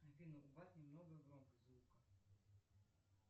афина убавь немного громкость звука